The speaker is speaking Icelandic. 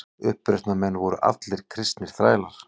Uppreisnarmenn voru allir kristnir þrælar.